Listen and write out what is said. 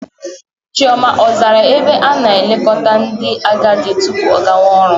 Chioma a zara ebe a ana-elekọta ndị agadi tupu ọ gawa ọrụ?